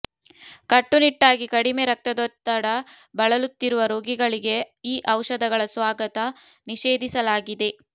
ಕಟ್ಟುನಿಟ್ಟಾಗಿ ಕಡಿಮೆ ರಕ್ತದೊತ್ತಡ ಬಳಲುತ್ತಿರುವ ರೋಗಿಗಳಿಗೆ ಈ ಔಷಧಗಳ ಸ್ವಾಗತ ನಿಷೇಧಿಸಲಾಗಿದೆ